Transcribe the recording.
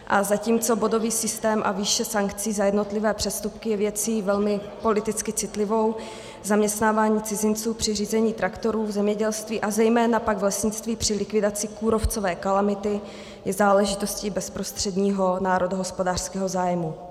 A zatímco bodový systém a výše sankcí za jednotlivé přestupky je věcí velmi politicky citlivou, zaměstnávání cizinců při řízení traktorů v zemědělství a zejména pak v lesnictví při likvidaci kůrovcové kalamity je záležitostí bezprostředního národohospodářského zájmu.